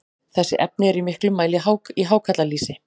þessi efni eru í miklum mæli í hákarlalýsi